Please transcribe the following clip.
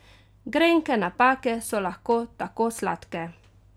Grenke napake so lahko tako sladke!